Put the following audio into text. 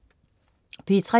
P3: